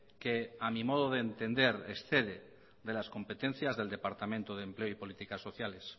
que a mi modo de entender excede de las competencias del departamento de empleo y políticas sociales